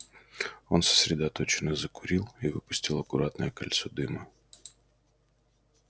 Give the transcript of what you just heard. он сосредоточенно закурил и выпустил аккуратное кольцо дыма